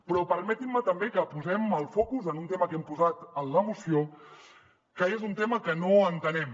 però permetin me també que posem el focus en un tema que hem posat en la moció que és un tema que no entenem